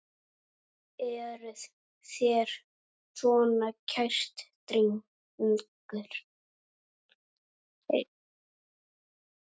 Eruð þér svona kær drengur?